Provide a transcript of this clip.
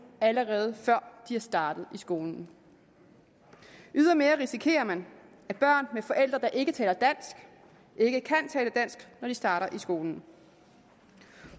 allerede før de er startet i skolen ydermere risikerer man at børn med forældre der ikke taler dansk ikke kan tale dansk når de starter i skolen